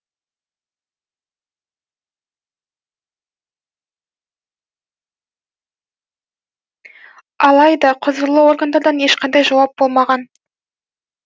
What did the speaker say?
алайда құзырлы органдардан ешқандай жауап болмаған